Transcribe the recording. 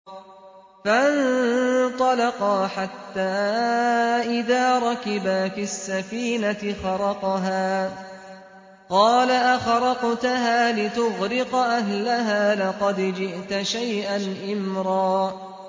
فَانطَلَقَا حَتَّىٰ إِذَا رَكِبَا فِي السَّفِينَةِ خَرَقَهَا ۖ قَالَ أَخَرَقْتَهَا لِتُغْرِقَ أَهْلَهَا لَقَدْ جِئْتَ شَيْئًا إِمْرًا